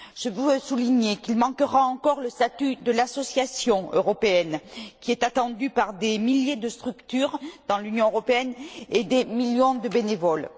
Je veux souligner qu'il manquera encore le statut de l'association européenne qui est attendu par des milliers de structures dans l'Union européenne et des millions de bénévoles.